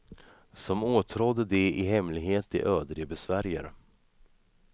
Som åtrådde de i hemlighet det öde de besvärjer.